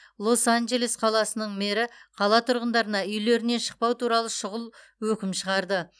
лос анджелес қаласының мэрі қала тұрғындарына үйлерінен шықпау туралы шұғыл өкім шығарды